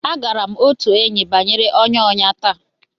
Agara m otu enyi bnwere ọnya ọnya taa.